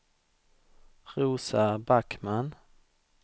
Rosa Backman